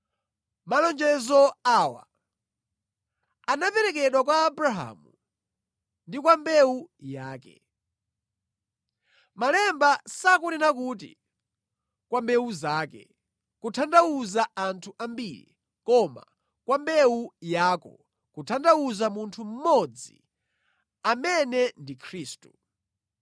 Malonjezo awa anaperekedwa kwa Abrahamu ndi kwa mbewu yake. Malemba sakunena kuti, “kwa mbewu zake,” kutanthauza anthu ambiri, koma, “kwa mbewu yako,” kutanthauza munthu mmodzi, amene ndi Khristu.